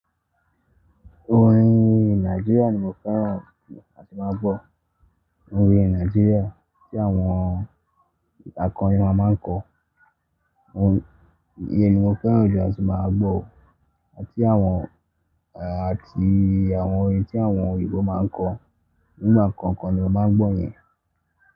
Orin Nigeria ni mo fẹ́ràn jù a ti máa ń gbọ́. Orin Nigeria tí àwọn akọrin máa ń kọ, iyen ni mo fẹ́ràn jùlọ tí a ti máa ń gbọ́, àti àwọn orin tí àwọn Òyìnbó máa ń kọ, nínú àwọn kan kan ni a máa ń gbọ́ yẹn.